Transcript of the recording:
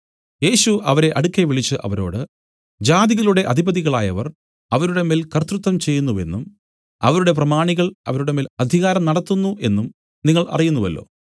യേശു അവരെ അടുക്കെ വിളിച്ചു അവരോട് ജാതികളുടെ അധിപതികളായവർ അവരുടെ മേൽ കർത്തൃത്വം ചെയ്യുന്നുവെന്നും അവരുടെ പ്രമാണികൾ അവരുടെ മേൽ അധികാരം നടത്തുന്നു എന്നും നിങ്ങൾ അറിയുന്നുവല്ലോ